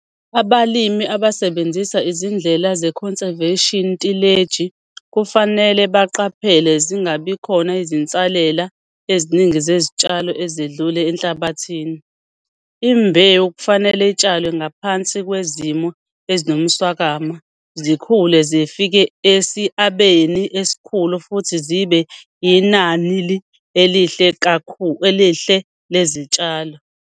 Abalimi abasebenzisa izindlela ze-conservation tileji kufanele baqaphele zingabikhona izinsalela eziningi zezitshalo ezedlule enhlabathini. Imbewu kufanele itshalwe ngaphansi kwezimo ezinomswakama zikhule zifike esiabeni esikhulu futhi zibe inanli elihle lezitshalo.